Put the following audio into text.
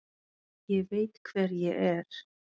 Ég veit hver ég er.